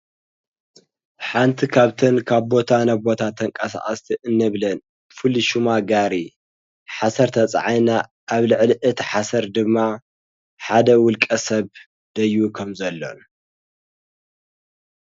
ሓንቲ ኻብትን ካብ ቦታ ነቦታ ተንቀሣኣስቲ እንብልን ፍልሹማ ጋሪ ሓሠርተፀዓይና ኣብ ልዕልእት ሓሰር ድማ ሓደ ውልቀ ሰብ ደይ ኸም ዘሎ ይገልፅ።